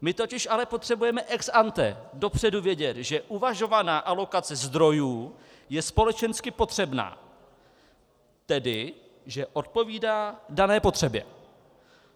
My totiž ale potřebujeme ex ante, dopředu, vědět, že uvažovaná alokace zdrojů je společensky potřebná, tedy že odpovídá dané potřebě.